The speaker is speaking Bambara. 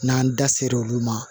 N'an da sera olu ma